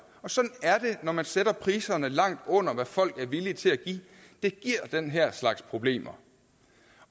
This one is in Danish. sådan er det når man sætter priserne langt under hvad folk er villige til at give det giver den her slags problemer